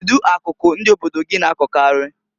Kedu akụkụ ndi obodo gi na-akọkarị?